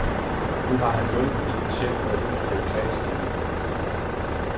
Nu har han hjulpet en patient med at udfylde et klageskema.